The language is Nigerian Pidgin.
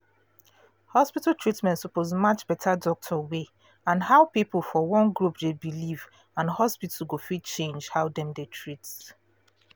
hospital treatment suppose match better doctor way and how people for one group dey believe and hospital go fit change how dem dey treat